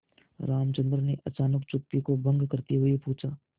रामचंद्र ने अचानक चुप्पी को भंग करते हुए पूछा